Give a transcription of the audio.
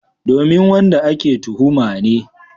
Domin wanda ake tuhuma ne.